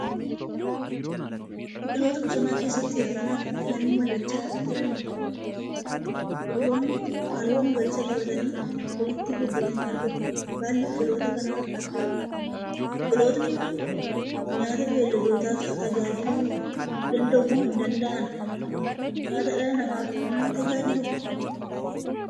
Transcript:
Biqiltoota bosona keessatti hedduminaan biqilanii mul'achaa jiraniidha. Biqiltoonni kun halluu magariisa qabatanii walitti gobbatanii argamuu. Baalli biqiltoota kanaa haphiidha. Biqiltoonni kun nyaata beeyiladootaaf tajaajiluu dandahuu moo hin dandahaan? Nyaata dhala namaaf ni tajaajiluu?